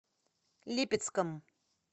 липецком